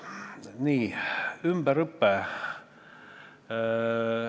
Nii, ümberõpe.